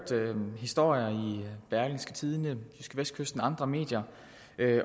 historier i berlingske tidende jydskevestkysten og andre medier